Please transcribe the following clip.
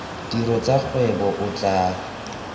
tiro tsa kgwebo o tla